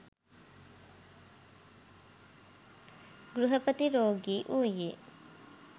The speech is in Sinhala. ගෘහපති රෝගී වූයේ,